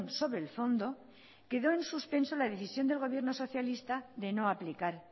sobre el fondo quedó en suspenso la decisión del gobierno socialista de no aplicar